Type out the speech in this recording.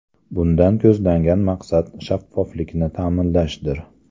Bundan ko‘zlangan maqsad shaffoflikni ta’minlashdir.